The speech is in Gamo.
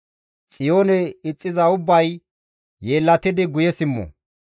Xiyoone ixxiza ubbay yeellatidi guye simmo!